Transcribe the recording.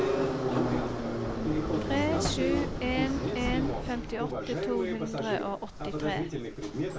tre sju en en femtiåtte to hundre og åttitre